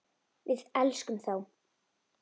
Við elskum þá.